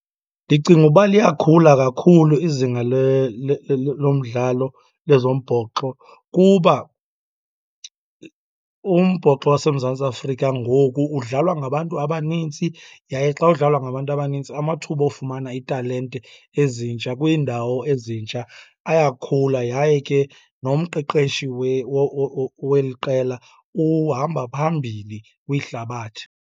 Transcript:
Ndicinga uba liyakhula kakhulu izinga lomdlalo lezombhoxo kuba umbhoxo waseMzantsi Afrika ngoku udlalwa ngabantu abanintsi. Yaye xa udlalwa ngabantu abanintsi amathuba ofumana iitalente ezintsha kwiindawo ezintsha ayakhula, yaye ke nomqeqeshi weli qela uhamba phambili kwihlabathi.